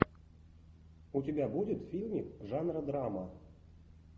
у тебя будет фильмик жанра драма